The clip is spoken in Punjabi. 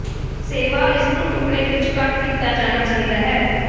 ਸੇਵਾ ਇਸ ਨੂੰ ਟੁਕੜੇ ਵਿੱਚ ਕੱਟ ਕੀਤਾ ਜਾਣਾ ਚਾਹੀਦਾ ਹੈ